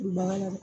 Duguba la